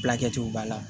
Fila kɛtiw b'a la